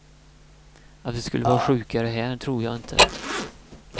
Att vi skulle vara sjukare här tror jag inte.